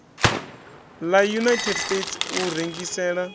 la united states u rengisela